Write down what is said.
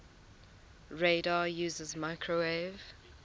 radar uses microwave